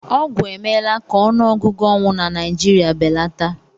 Ọgwụ emela ka ọnụọgụ ọnwụ na Naịjirịa belata